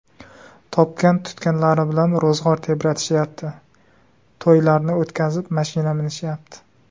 Topgan-tutganlari bilan ro‘zg‘or tebratishayapti, to‘ylarni o‘tkazib, mashina minishayapti.